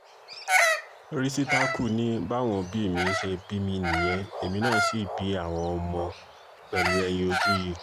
rìsítákù ni báwọn òbí mi ṣe bí mi nìyẹn èmi náà sì bí àwọn ọmọ pẹ̀lú ẹ̀yin ojú yìí